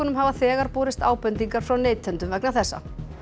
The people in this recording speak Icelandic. hafa þegar borist ábendingar frá neytendum vegna þessa